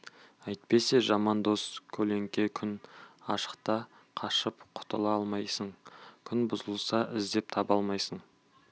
әйтпесе жаман дос көлеңке күн ашықта қашып құтыла алмайсың күн бұзылса іздеп таба алмайсың